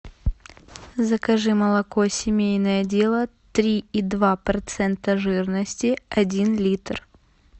закажи молоко семейное дело три и два процента жирности один литр